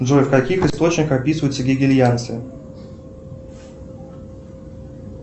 джой в каких источниках описываются гегельянцы